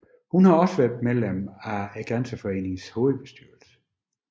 Hun har også været medlem af Grænseforeningens hovedbestyrelse